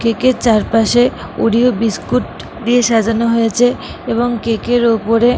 Cake এর চারপাশে Oreo biscuit দিয়ে সাজানো হয়েছেএবং কেক এর ওপরে ।